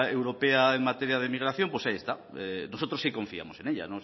europea en materia de migración pues ahí está nosotros sí confiamos en ella